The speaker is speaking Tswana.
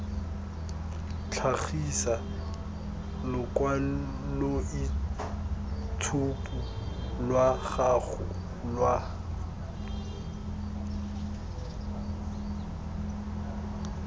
tlhagisa lokwaloitshupu lwa gago lwa